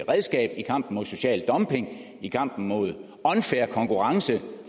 redskab i kampen mod social dumping i kampen mod unfair konkurrence